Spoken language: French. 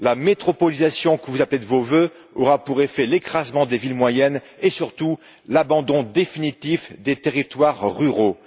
La métropolisation que vous appelez de vos vœux aura pour effet l'écrasement des villes moyennes et surtout l'abandon définitif des territoires ruraux.